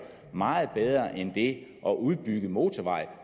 meget bedre end det at udbygge motorveje